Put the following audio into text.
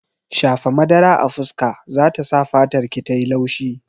Shafa madara a fuska zata sa fatarki tayi laushi